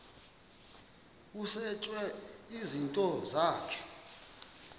kusetshwe izinto zakho